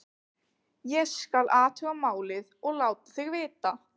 Ég: skal athuga málið og láta þig vita